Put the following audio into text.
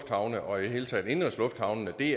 vi